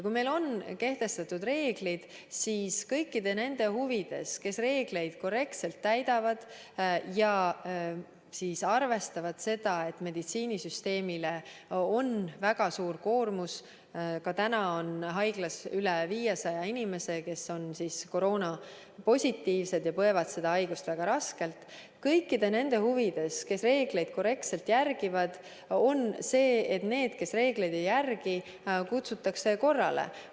Kui meil on kehtestatud reeglid, siis kõikide nende huvides, kes reegleid korrektselt täidavad ja arvestavad seda, et meditsiinisüsteemil on väga suur koormus – ka praegu on haiglas üle 500 inimese, kes on koroonapositiivsed ja põevad seda haigust väga raskelt –, on see, et neid, kes reegleid ei järgi, kutsutakse korrale.